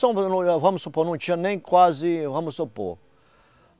Vamos supor, não tinha nem quase... Vamos supor.